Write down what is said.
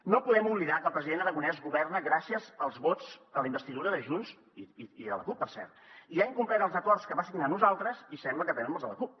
no podem oblidar que el president aragonès governa gràcies als vots a la investidura de junts i de la cup per cert i ha incomplert els acords que va signar amb nosal tres i sembla que també amb els de la cup